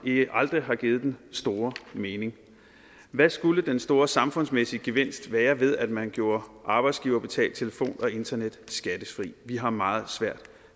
aldrig har givet den store mening hvad skulle den store samfundsmæssige gevinst være ved at man gjorde arbejdsgiverbetalt telefon og internet skattefrit vi har meget svært